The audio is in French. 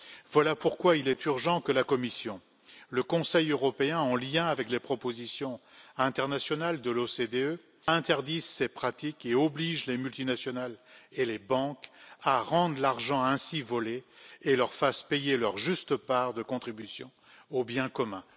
Voilà pourquoi il est urgent que la Commission et le Conseil européen, en lien avec les propositions internationales de l'OCDE, interdisent ces pratiques et obligent les multinationales et les banques à rendre l'argent ainsi volé et leur fassent payer leur juste part de contribution au bien commun.